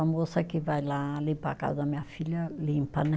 A moça que vai lá limpar a casa da minha filha limpa, né?